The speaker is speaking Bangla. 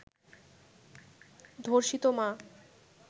ধর্ষিত মা